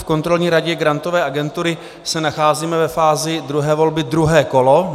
V Kontrolní radě Grantové agentury se nacházíme ve fázi druhé volby, druhé kolo.